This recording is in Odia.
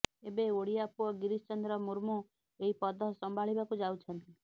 ଏବେ ଓଡିଆ ପୁଅ ଗିରୀଶ ଚନ୍ଦ୍ର ମୁର୍ମୁ ଏହି ପଦ ସମ୍ଭାଳିବାକୁ ଯାଉଛନ୍ତି